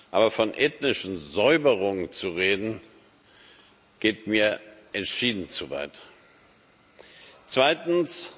Aber von ethnischen Säuberungen zu reden, geht mir entschieden zu weit. Zweitens.